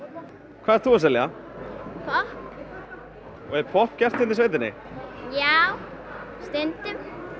hvað ert þú að selja popp og er popp gert hérna í sveitinni já stundum